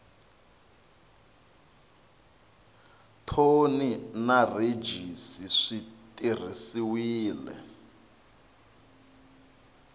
thoni na rhejisi swi tirhisiwile